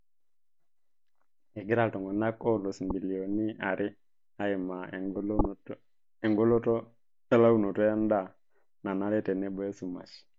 Egira iltung'ana oolus mbilionini are aimaa engoloto elaunoto endaa nanare tenebo esumash.